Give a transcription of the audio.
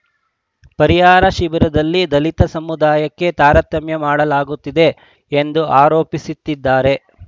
ಪರಿಹಾರ ಶಿಬಿರದಲ್ಲಿ ದಲಿತ ಸಮುದಾಯಕ್ಕೆ ತಾರತಮ್ಯ ಮಾಡಲಾಗುತ್ತಿದೆ ಎಂದು ಆರೋಪಿಸಿದ್ದಾರೆ